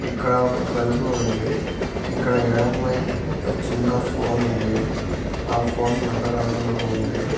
ఇక్కడ ఒక బలుపు ఉంది ఇక్కడ ఎడమవైపు ఒక చిన్న ఫోన్ ఉంది ఆ ఫోన్ నల్ల రంగులో ఉంది.